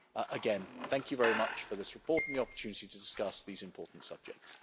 Again, thank you very much for this report and the opportunity to discuss these important subjects.